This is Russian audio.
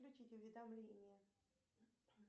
включить уведомления